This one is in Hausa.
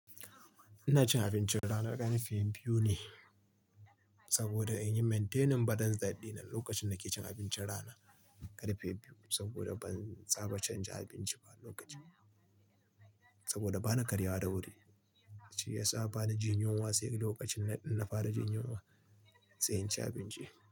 Ina cin abincin rana karfe biyu ne saboda in yi maintaining badan daɗi na lokacin da nake cin abincin rana karfe biyu saboda ban saba canza abinci ba lokacin. Saboda bana karyawa da wuri, shi ya sa bana jin yunwa sai lokacin na fara jin yunwa sai in ci abinci.